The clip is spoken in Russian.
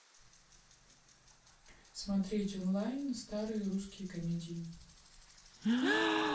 смотреть онлайн старые русские комедии